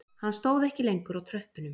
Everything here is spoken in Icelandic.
Hann stóð ekki lengur á tröppunum